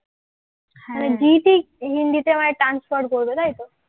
হিন্দিতে মানে transfer করবে তাই তো?